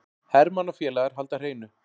Hermann og félagar halda hreinu